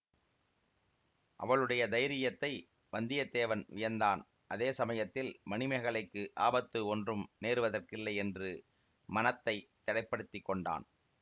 அவளுடைய தைரியத்தை வந்தியத்தேவன் வியந்தான் அதே சமயத்தில் மணிமேகலைக்கு ஆபத்து ஒன்றும் நேருவதற்கில்லை என்று மனத்தை திடப்படுத்திக் கொண்டான்